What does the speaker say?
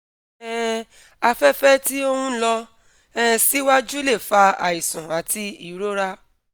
um afẹ́fẹ̀ tí ó ń lọ um síwájú lè fa àìsàn àti ìrora